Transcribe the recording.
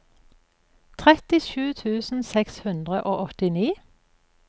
trettisju tusen seks hundre og åttini